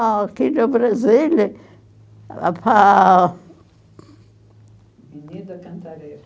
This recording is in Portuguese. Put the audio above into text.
Ah, aqui no Brasil era para... Avenida Cantareira.